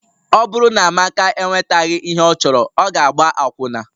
Ọ bụrụ na Amaka enwetaghị ihe ọ chọrọ, ọ ga-agba akwụna